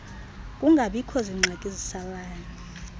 kungabikoh zingxaki zisalayo